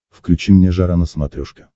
включи мне жара на смотрешке